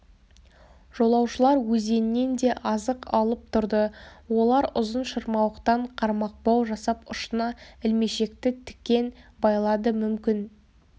жолаушылар өзеннен де азық алып тұрды олар ұзын шырмауықтан қармақбау жасап ұшына ілмешекті тікен байлады мүмкін